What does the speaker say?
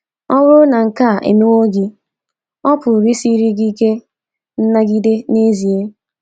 Ọ bụrụ na nke a emewo gị, ọ pụrụ isiri gị ike nnagide n’ezie.